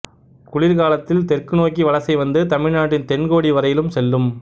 குளிர்காலத்தில் தெற்கு நோக்கி வலசைவந்து தமிழ் நாட்டின் தென்கோடிவரையிலும் செல்லும்